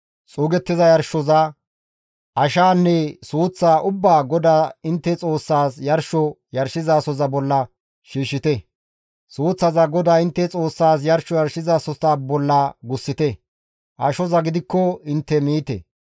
Xuugettiza yarshoza, ashaanne suuththaa ubbaa GODAA intte Xoossaas yarsho yarshizasoza bolla shiishshite; suuththaza GODAA intte Xoossas yarsho yarshizasohota bolla gussite; ashoza gidikko intte miite.